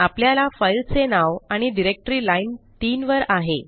आपल्या फाईलचे नाव आणि डिरेक्टरी लाईन 3 वर आहे